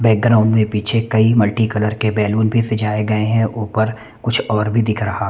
background में पीछे कई मल्टी कलर के बैलून पर सजाए गए हैं ऊपर कुछ और भी दिख रहा--